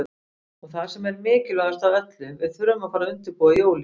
Og það sem er mikilvægast af öllu, við þurfum að fara að undirbúa jólin.